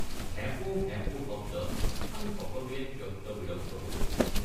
ভেঁপো ভেঁপো শব্দত আমি সকলোৱে ত্যক্তবিৰক্ত হৈ উঠিলোঁ।